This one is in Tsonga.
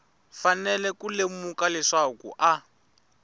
fanele ku lemuka leswaku a